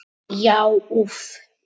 Já úff!